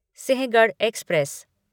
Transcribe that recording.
Sinhagad express